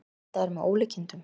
Þetta er með ólíkindum